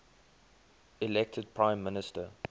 elected prime minister